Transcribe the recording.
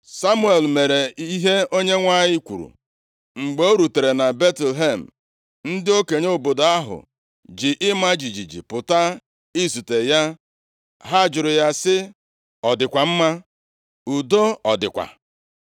Samuel mere ihe Onyenwe anyị kwuru. Mgbe o rutere na Betlehem, ndị okenye obodo ahụ ji ịma jijiji pụta izute ya. Ha jụrụ ya sị “Ọ dịkwa mma? Udo ọ dịkwa?”